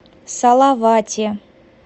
салавате